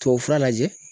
Tubabufura lajɛ